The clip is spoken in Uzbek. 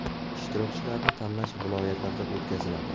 Ishtirokchilarni tanlash viloyatlarda o‘tkaziladi.